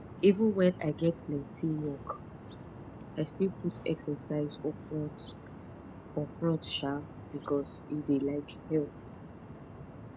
even when i get plenty work i still put exercise for front for front um because e dey um help